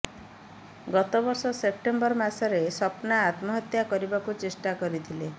ଗତ ବର୍ଷ ସେପ୍ଟେମ୍ବର ମାସରେ ସପ୍ନା ଆତ୍ମହତ୍ୟା କରିବାକୁ ଚେଷ୍ଟା କରିଥିଲେ